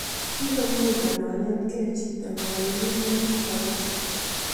Ebee mudaa konetkei chitoo kowal kiit ne kagas